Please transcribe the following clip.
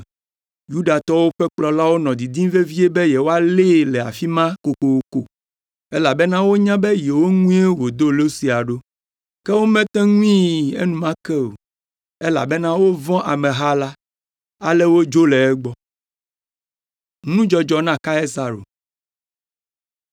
Yudatɔwo ƒe kplɔlawo nɔ didim vevie be yewoalée le afi ma kokoko, elabena wonya be yewo ŋue wòdo lo sia ɖo. Ke womete ŋui enumake o, elabena wovɔ̃ na ameha la. Ale wodzo le egbɔ.